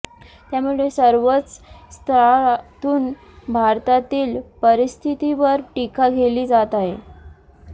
त्यामुळे सर्वच स्तरातून भारतातील परिस्थितीवर टिका केली जात आहे